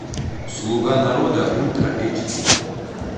слуга народа ультра эйч ди